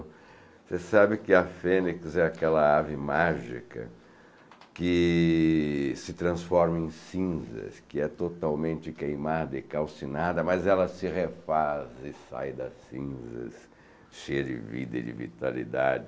Você sabe que a fênix é aquela ave mágica que se transforma em cinzas, que é totalmente queimada e calcinada, mas ela se refaz e sai das cinzas, cheia de vida e de vitalidade.